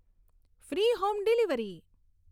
free home delivery